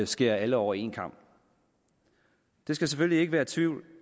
skære alle over en kam der skal selvfølgelig ikke være tvivl